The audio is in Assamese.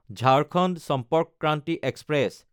ঝাৰখণ্ড চম্পৰ্ক ক্ৰান্তি এক্সপ্ৰেছ